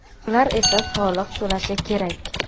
ular esa soliq to‘lashi kerak.